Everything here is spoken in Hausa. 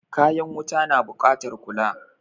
Kayan wuta na buƙatar kula.